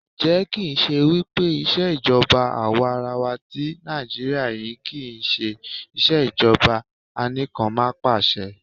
Ǹjẹ́ kì ń ṣe wípé ìṣèjọba àwarawa tí Nàìjíríà yí kí ń ṣe ìṣèjọba Anìkanpàṣẹ?